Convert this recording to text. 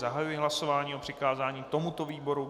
Zahajuji hlasování o přikázání tomuto výboru.